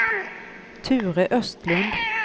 Ture Östlund